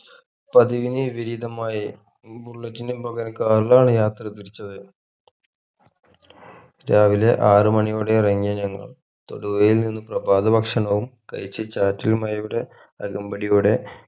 പതിവിനു വിപരീതമായി ഈ bullet ന് പകരം car ലാണ് യാത്ര തിരിച്ചത് രാവിലെ ആറുമണിയോടെ ഇറങ്ങിയ ഞങ്ങൾ തൊടുപുഴയിൽ നിന്ന് പ്രഭാത ഭക്ഷണവും കഴിച് ചാറ്റൽ മഴയുടെ അകമ്പടിയോടെ